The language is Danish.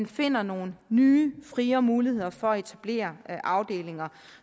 finder nogle nye friere muligheder for at etablere afdelinger